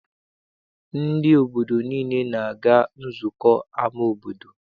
Ndị obodo niile na-aga nzukọ n'ama obodo.